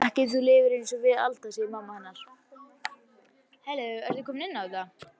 Ekki ef þú lifir einsog við Alda, segir mamma hennar.